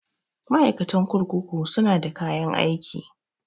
Ma'aikatan kurkuku su na da kayan aiki